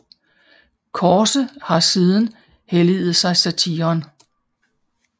Korse har siden helliget sig satiren